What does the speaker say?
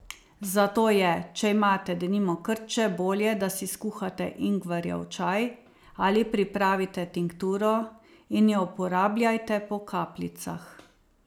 Zato je, če imate, denimo, krče, bolje, da si skuhate ingverjev čaj ali pripravite tinkturo in jo uporabljajte po kapljicah.